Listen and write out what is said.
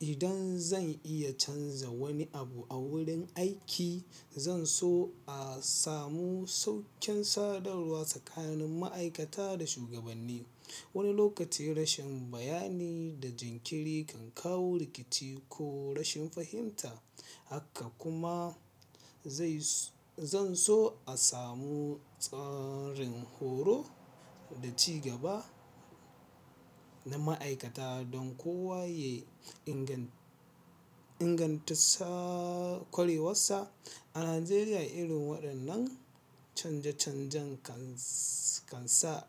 Idan zan iya canza wani abu a wurin aiki, zan so a samu sauƙin sadarwa tsakanin ma'aikata da shugabanni. Wani lokaci rashin bayani da jinkiri kan kawo rikici ko rashin fahimta. Haka kuma zan so a samu tsarin horo da ci gaba na ma'aikata don kowa ya inganta ƙwarewarsa. A Najeriya, irin waɗannan canje-canjen kan sa